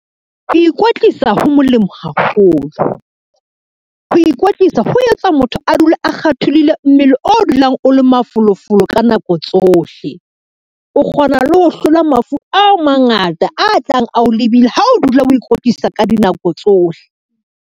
Ho ikwetlisa ho molemo haholo, ho ikwetlisa ho etsa motho a dule a kgatholohile mmele o dulang o le mafolofolo ka nako tsohle. O kgona le ho hlola mafu a mangata, a tlang a o lebile ha o dula o ikwetlisa ka dinako tsohle.